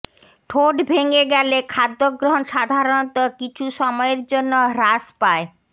ঠোঁট ভেঙ্গে গেলে খাদ্য গ্রহণ সাধারণত কিছু সময়ের জন্য হ্রাস পায়